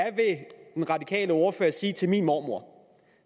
den radikale ordfører sige til min mormor